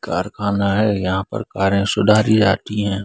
कारखाना है यहाँ पर कारें सुधारी जातीं हैं।